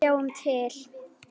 Sjáum til.